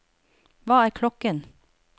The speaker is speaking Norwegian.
hva er klokken